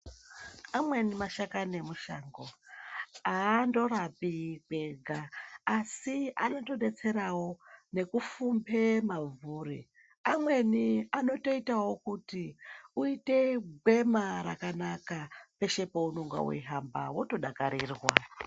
Amweni mashakani emushango aandoraoi kwega asi anotodetserawo nekufumbe mabvuri , amweni anotoitawo kuti uite gwema rakanaka peshe paunonga weihamba wotodakarirwa.